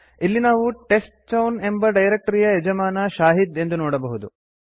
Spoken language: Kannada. ಇಲ್ಲಿ ನಾವು test chown ಎಂಬ ಡೈರೆಕ್ಟರಿಯ ಯಜಮಾನ ಶಾಹಿದ್ ಎಂದು ನೋಡಬಹುದು